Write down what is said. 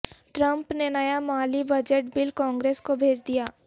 Trump نے نیا مالی بجٹ بل کانگرس کو بھیج دیا